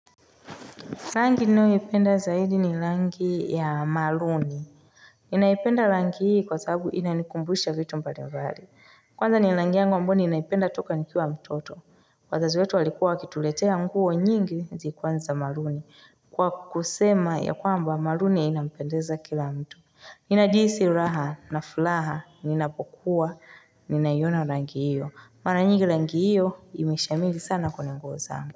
Rangi ninayoipenda zaidi ni rangi ya maruni. Ninaipenda rangi hii kwa sababu inanikumbusha vitu mbalimbali Kwanza ni rangi yangu ambayo ninaipenda toka nikiwa mtoto. Wazazi wetu walikuwa wakituletea nguo nyingi zilikuwa ni za maruni. Kwa kusema ya kwamba maruni inampendeza kila mtu. Ninajihisi raha na furaha ninapokuwa ninaiona rangi hiyo. Mara nyingi rangi hiyo imeshamiri sana kwenye nguo zangu.